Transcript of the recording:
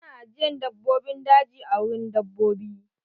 Ana ajiyan dabbobin daji a wurin dabbobi.